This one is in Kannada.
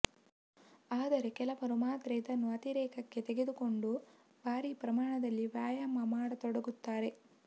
ಆದರೆ ಕೆಲವರು ಮಾತ್ರ ಇದನ್ನು ಅತಿರೇಕಕ್ಕೆ ತೆಗೆದುಕೊಂಡು ಭಾರೀ ಪ್ರಮಾಣದಲ್ಲಿ ವ್ಯಾಯಾಮ ಮಾಡತೊಡಗುತ್ತಾರೆ